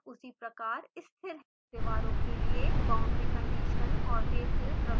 अब उसी प्रकार स्थिर दीवारों के लिए boundary condition और faces प्रविष्ट करें